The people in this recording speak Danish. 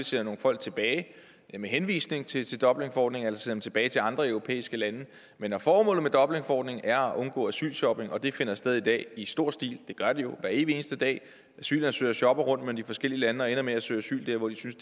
sender nogle folk tilbage med henvisning til dublinforordningen altså sender dem tilbage til andre europæiske lande men når formålet med dublinforordningen er at undgå asylshopping og det finder sted i dag i stor stil det gør det jo hver evig eneste dag asylansøgere shopper rundt mellem de forskellige lande og ender med at søge asyl der hvor de synes